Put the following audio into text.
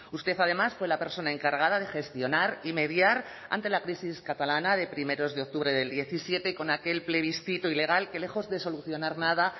usted además fue la persona encargada de gestionar y mediar ante la crisis catalana de primeros de octubre del diecisiete con aquel plebiscito ilegal que lejos de solucionar nada